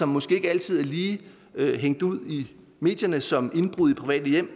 måske ikke altid lige er hængt ud i medierne som for eksempel indbrud i private hjem